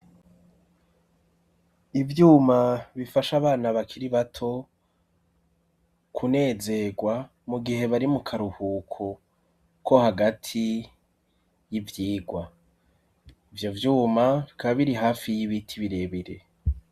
Ivyuma bifash'abana bakiri bato kunezegwa ,mu gihe bari mu karuhuko ko hagati y'ivyigwa, ivyo vyuma bikaba biri hafi y'ibiti birebire.